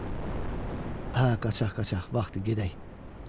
Hə, qaçaq, qaçaq, vaxtdı gedək.